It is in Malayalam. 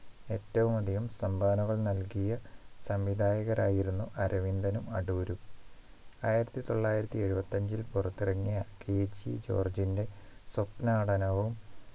ഏറ്റവുമധികം സംഭാവനകൾ നൽകിയ സംവിധായകരായിരുന്നു അരവിന്ദനും അടൂരും ആയിരത്തി തൊള്ളായിരത്തി എഴുപത്തി അഞ്ചിൽ പുറത്തിറങ്ങിയ KG ജോർജിൻറെ സ്വപ്നാടനവും